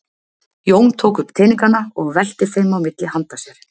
Jón tók upp teningana og velti þeim á milli handa sér.